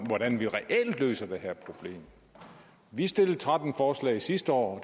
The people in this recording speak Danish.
hvordan vi reelt løser det her problem vi stillede tretten forslag sidste år